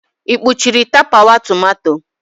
Ị kpuchiri tapawa tomato?